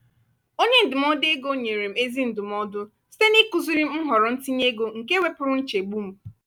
onye ndụmọdụ ego nyere m ezi ndụmọdụ site n’ịkụziri m nhọrọ ntinye ego nke wepụrụ nchegbu m.